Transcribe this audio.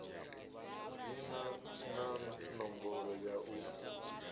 dzina na ṋomboro ya u